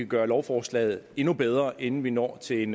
gøre lovforslaget endnu bedre inden vi når til en